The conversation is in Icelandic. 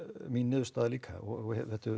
mín niðurstaða líka og